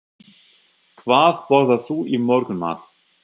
Hvað borðar þú í morgunmat?